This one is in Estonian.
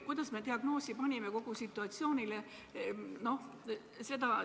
Kuidas me kogu situatsioonile diagnoosi panime?